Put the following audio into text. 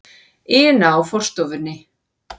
ina á forstofunni.